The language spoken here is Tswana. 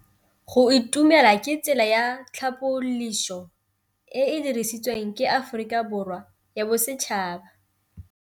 Go itumela ke tsela ya tlhapolisô e e dirisitsweng ke Aforika Borwa ya Bosetšhaba.